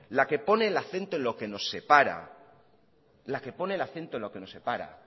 la que pone el acento en lo que nos separa